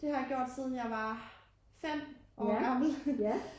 Det har jeg gjort siden jeg var 5 år gammel